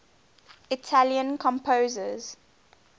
italian composers